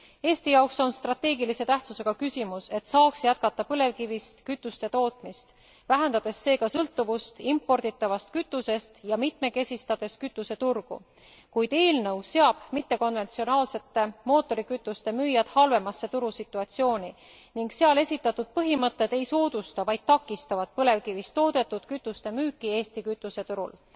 Eesti jaoks on strateegilise tähtsusega küsimus, et saaks jätkata põlevkivist kütuste tootmist, vähendades seega sõltuvust imporditavast kütusest ja mitmekesistades kütuseturgu, kuid eelnõu seab mittekonventsionaalsete mootorikütuste müüjad halvemasse turusituatsiooni ning seal esitatud põhimõtted ei soodusta, vaid taksitavad põlevkivist toodetud kütuste müüki Eesti kütuseturul.